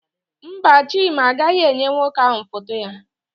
Mba, Chima agaghị enye nwoke ahụ foto ya.